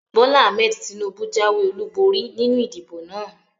Bólá Ahmed Tinúbú jáwé ọlúborí nínu ìdìbò náà